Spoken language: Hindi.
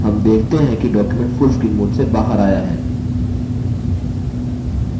हम देखते हैं कि document full screen mode से बाहर आया है